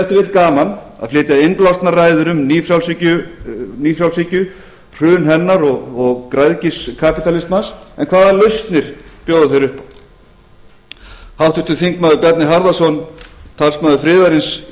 gaman að flytja innblásnar ræður um nýfrjálshyggju hrun hennar og græðgi kapitalismans en hvaða lausnir bjóða þeir upp á háttvirtu þingmenn bjarni harðarson talsmaður friðarins í